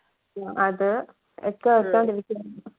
അത്